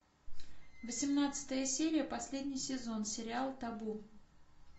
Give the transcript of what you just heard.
восемнадцатая серия последний сезон сериал табу